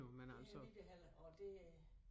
Det har vi da heller og det øh